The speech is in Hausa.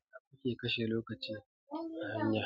Idan ake kashe lokaci a hanya,